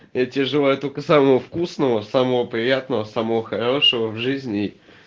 я тебе желаю только самого вкусного самого приятного самого хорошего в жизни